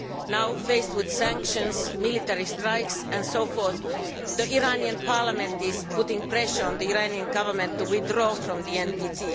Now faced with sanctions, military strikes and so forth, the Iranian Parliament is putting pressure on the Iranian Government to withdraw from the NPT.